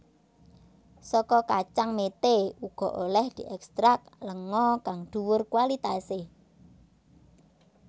Saka kacang mete uga olèh diekstrak lenga kang dhuwur kualitasé